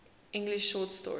english short story